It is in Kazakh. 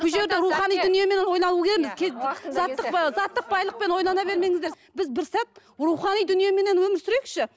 заттық ы заттық байлықпен ойлана бермеңіздер біз бір сәт рухани дүниеменен өмір сүрейікші